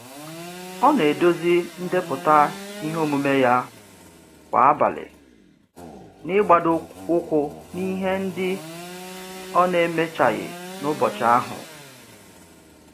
Ọ na-edozi ndepụta ihe omume ya kwa abalị, n'igbadoụkwụ n'ihe ndị ọ n'emechaghị n'ụbọchị ahụ.